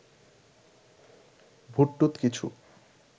ভূতটুত কিছু